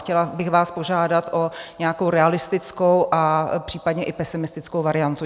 Chtěla bych vás požádat o nějakou realistickou a případně i pesimistickou variantu.